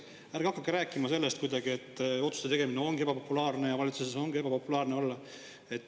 Ärge hakake rääkima sellest, et otsuste tegemine ongi ebapopulaarne ja valitsuses ongi ebapopulaarne olla.